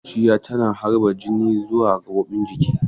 Zuciya tana harba jini zuwa gaɓoɓin jiki.